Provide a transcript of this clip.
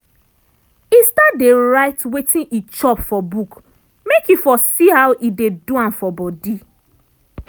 e start dey write wetin e chop for book make e for see how e dey do am for body.